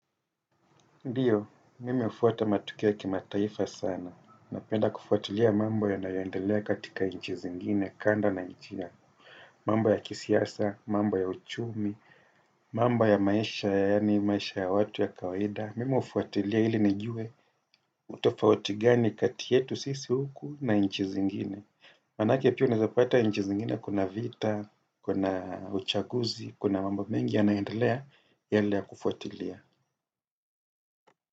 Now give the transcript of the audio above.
Ndiyo, mimi hufuata matokea kimataifa sana. Napenda kufuatilia mambo yanayoendelea katika inchi zingine, kandi na inchi yangu. Mambo ya kisiasa, mambo ya uchumi, mambo ya maisha yaani, maisha ya watu ya kawaida. Mimi hufuatilia ili nijue tofauti gani kati yetu sisi huku na inchi zingine. Manake pia unaeza pata inchi zingine kuna vita, kuna uchaguzi, kuna mambo mengi yanaendelea yale ya kufuatilia.